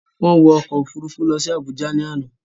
Wọ́n wọ ọkọ̀-òfurufú lọ sí Àbújá lánàá.